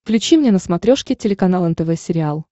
включи мне на смотрешке телеканал нтв сериал